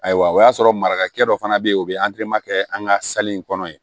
Ayiwa o y'a sɔrɔ marakakɛ dɔ fana bɛ yen o bɛ kɛ an ka kɔnɔ yen